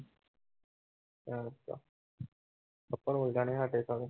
ਅੱਛਾ